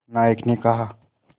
नायक ने कहा